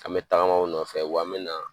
An bɛ tagama u nɔfɛ wa an mina